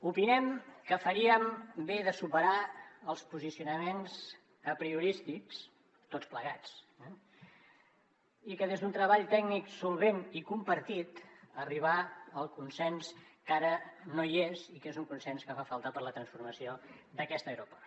opinem que faríem bé de superar els posicionaments apriorístics tots plegats eh i des d’un treball tècnic solvent i compartit arribar al consens que ara no hi és i que és un consens que fa falta per a la transformació d’aquest aeroport